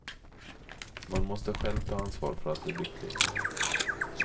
Man måste själv ta ansvar för att bli lycklig.